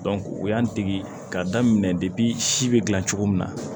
u y'an dege ka daminɛ si be gilan cogo min na